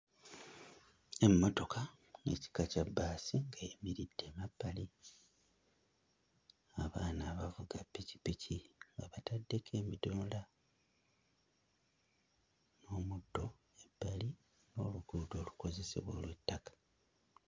Emmotoka ey'ekika kya bbaasi ng'eyimiridde emabbali. Abaana abavuga ppikipiki nga bataddeko ebidomola, n'omuddo ebbali n'oluguudo olukozesebwa olw'ettaka.